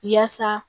Yaasa